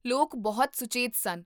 ਲੋਕ ਬਹੁਤ ਸੁਚੇਤ ਸਨ